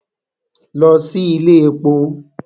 Lọ sí ilé èpo!